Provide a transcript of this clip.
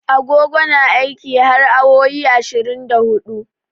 Agogo na aiki har awowi ashirin da hudu.